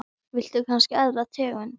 Viltu kannski aðra tegund?